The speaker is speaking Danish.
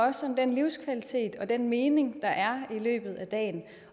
også om den livskvalitet og den mening der er i løbet af dagen